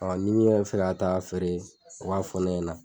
ni min yɛrɛ be fɛ ka taa'a feere o k'a fɔ ne ɲɛna